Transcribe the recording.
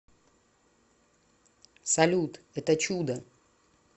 салют это чудо